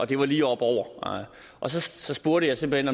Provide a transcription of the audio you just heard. det var lige op over så spurgte jeg simpelt